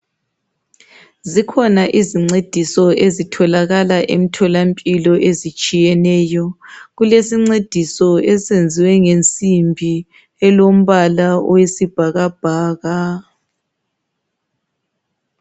Zikhona izincediso ezitholakala emtholampilo ezitshiyeneyo. Kukesincediso esenziwe ngensimbi elombala owesibhakabhaka.